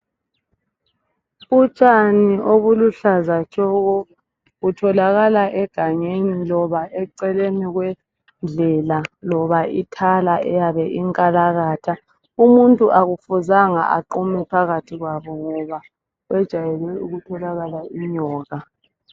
Utshani obuluhlaza tshoko, butholakala egangeni, loba eceleni kwendlela ,loba ithala eyabe inkalakatha . Umuntu akufuzanga aqume phakathi kwalo ngoba kwejwayele ukutholakala inyoka.